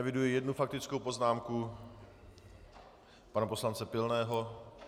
Eviduji jednu faktickou poznámku pana poslance Pilného.